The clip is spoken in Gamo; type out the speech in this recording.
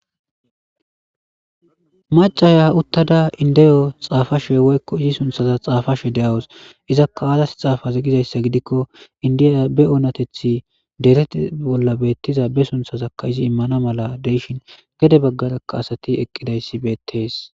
macaya uttada indeyo xaafashe woykko izi sunthaza xaafashe de7awus izakka aazas xaafaze gizayssa gidikko indiya be oonatethi dereti bolla beettiza be sunthazakka izi immana mala deishin gede baggarakka asati eqqidayssi beettees